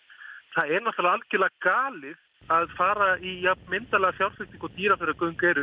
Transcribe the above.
það er náttúrulega algjörlega galið að fara í jafn myndarlega fjárfestingu og Dýrafjarðargöng eru